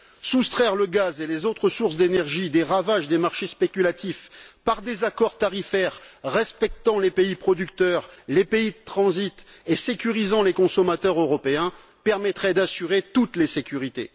Soustraire le gaz et les autres sources d'énergie des ravages des marchés spéculatifs par des accords tarifaires respectant les pays producteurs et les pays de transit et sécurisant les consommateurs européens permettrait d'assurer toutes les sécurités.